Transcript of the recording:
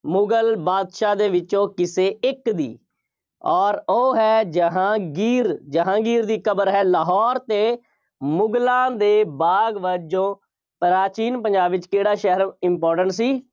ਮੁਗਲ ਬਾਦਸ਼ਾਹ ਦੇ ਵਿੱਚੋਂ ਕਿਸੇ ਇੱਕ ਦੀ, ਅੋਰ ਉਹ ਹੈ ਜਹਾਂਗੀਰ, ਜਹਾਂਗੀਰ ਦੀ ਕਬਰ ਹੈ, ਲਾਹੌਰ 'ਤੇ ਮੁਗਲਾਂ ਦੇ ਬਾਗ ਵਜੋਂ, ਪ੍ਰਾਚੀਨ ਪੰਜਾਬ ਵਿੱਚ ਕਿਹੜਾ ਸ਼ਹਿਰ important ਸੀ।